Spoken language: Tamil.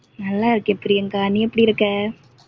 நல்லா இருக்கேன் பிரியங்கா, நீ எப்படி இருக்க?